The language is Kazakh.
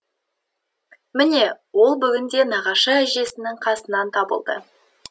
міне ол бүгін де нағашы әжесінің қасынан табылды